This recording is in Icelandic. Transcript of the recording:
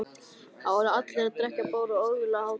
Þar voru allir að drekka bjór og ógurleg hátíð.